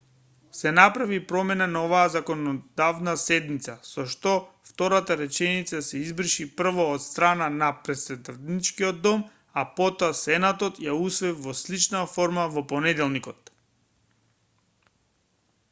се направи промена на оваа законодавна седница со што втората реченица се избриша прво од страна на претставничкиот дом а потоа сенатот ја усвои во слична форма во понеделникот